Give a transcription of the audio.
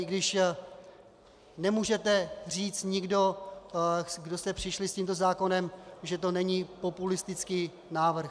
I když nemůžete říci nikdo, kdo jste přišli s tímto zákonem, že to není populistický návrh.